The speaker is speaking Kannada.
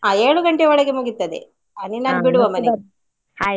ಹಾ ಏಳುಗಂಟೆಗೆ ಒಳಗೆ ಮುಗಿತದೆ ಹ ನಿನ್ನನ್ನು ಬಿಡುವ ಮನೆಗೆ .